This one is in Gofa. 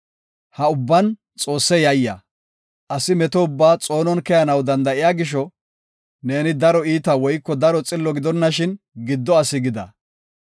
Ha ubban Xoosse yayya; asi meto ubbaa xoonon keyanaw danda7iya gisho neeni daro iita woyko daro xillo gidonashin giddo asi gida.